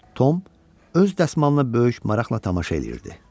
Tom öz dəsmalına böyük maraqla tamaşa eləyirdi.